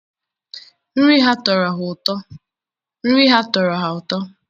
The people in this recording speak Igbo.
nri ha tọrọ ha ụtọ